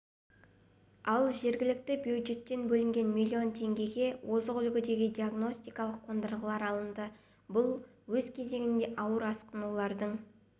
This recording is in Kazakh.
ал жергілікті бюджеттен бөлінген миллион теңгеге озық үлгідегі диагностикалық қондырғылар алынды бұл өз кезегінде ауыр асқынулардың